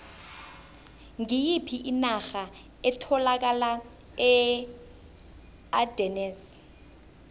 ngiyiphi inarha etholakala eardennes